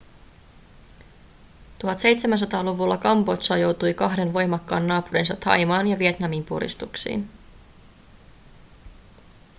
1700-luvulla kambodža joutui kahden voimakkaan naapurinsa thaimaan ja vietnamin puristuksiin